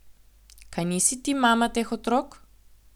Kaj nisi ti mama teh otrok?